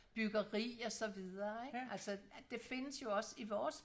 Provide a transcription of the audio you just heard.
byggeri og så videre ikke altså det findes jo også i vores